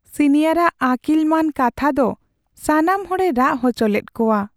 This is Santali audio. ᱥᱤᱱᱤᱭᱟᱨ ᱟᱜ ᱟᱹᱠᱤᱞᱢᱟᱹᱱ ᱠᱛᱷᱟ ᱫᱚ ᱥᱟᱱᱟᱢ ᱦᱚᱲᱮ ᱨᱟᱜ ᱦᱚᱪᱚ ᱞᱮᱫ ᱠᱚᱣᱟ ᱾